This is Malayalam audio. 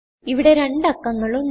ഇവിടെ രണ്ടു അക്കങ്ങൾ ഉണ്ട്